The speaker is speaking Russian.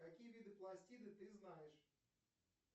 какие виды пластида ты знаешь